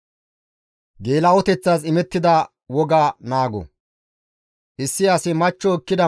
Issi asi machcho ekkida mala izira aqi simmidi izo ixxiko,